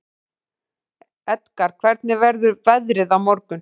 Edgar, hvernig verður veðrið á morgun?